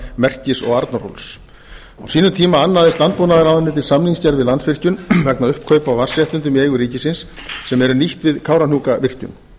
merkis og arnarhóls á sínum tíma annaðist landbúnaðarráðuneytið samningsgerð við landsvirkjun vegna uppkaupa á vatnsréttindum í eigu ríkisins sem eru nýtt við kárahnjúkavirkjun